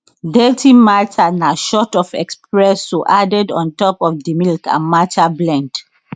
dirty matcha na shot of espresso added on top of di milk and matcha blend